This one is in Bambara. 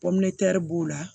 b'o la